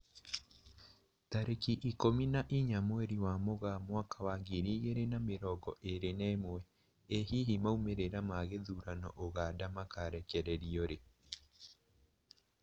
Tarĩki ikũmi na inya mweri wa Mũgaa mwaka wa ngiri igĩri na mĩrongo ĩri na ĩmwe, ĩ hihi maumĩrĩra ma gĩthurano Uganda makarekererio rĩ?